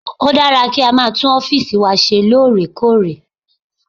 Ó dára kí a máa tún ọ́fìsì wa ṣeré lóòrèkóòrè